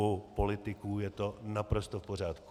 U politiků je to naprosto v pořádku.